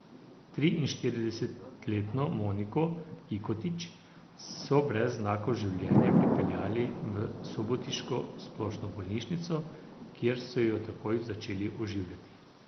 Triinštiridesetletno Moniko Ikotić so brez znakov življenja pripeljali v subotiško splošno bolnišnico, kjer so jo takoj začeli oživljati.